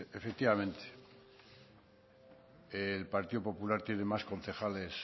efectivamente el partido popular tiene más concejales